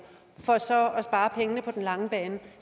for så at på den lange bane